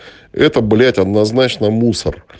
это блять однозначно мусор